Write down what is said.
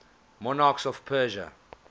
monarchs of persia